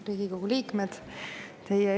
Riigikogu liikmed!